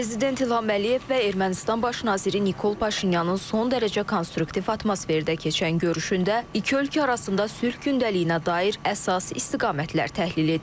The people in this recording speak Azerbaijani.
Prezident İlham Əliyev və Ermənistan baş naziri Nikol Paşinyanın son dərəcə konstruktiv atmosferdə keçən görüşündə iki ölkə arasında sülh gündəliyinə dair əsas istiqamətlər təhlil edilib.